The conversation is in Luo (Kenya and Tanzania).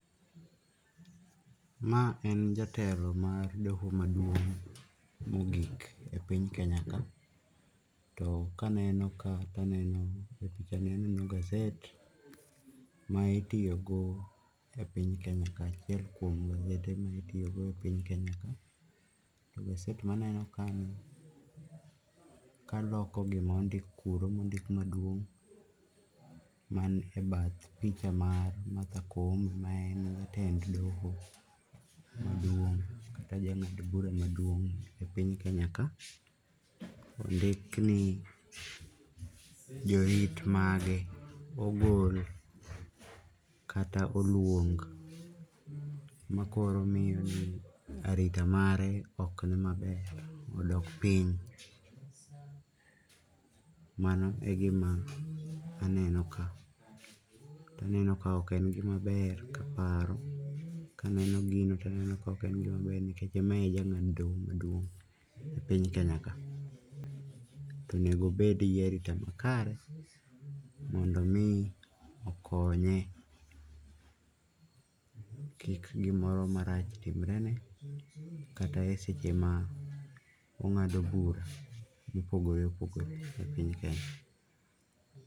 Ma en jatelo mar doho maduong' mogik epiny Kenya ka. To kaneno ka taneno gaset ma itiyogo epiny Kenya ka, achiel kuom gasede mitiyogo e piny Kenya ka,e gaset maneno ka kaloko gima ondik kuro mondik maduong' man ebath picha mar Matha Koome maen jatend doho maduong' kata jang'ad bura maduong' epiny Kenya ka, ondik ni jorit mage ogol kata oluong makoro miyo ni arita mare ok ni maber, odok piny. Mano e gima aneno ka, taneno kaok en gima ber kaparo. Kaneno gini taneno kaok en gima ber nikech mae e jang'ad doho maduong' epiny Kenya ka, to onego obed gi arita makare mondo omii okonye, kik gimoro marach timrene kata eseche mong'ado bura mopogore opogore epiny Kenya.